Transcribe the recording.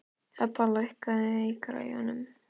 Hebba, lækkaðu í græjunum.